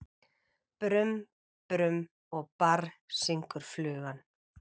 Brum-brum og barr, syngur flugan.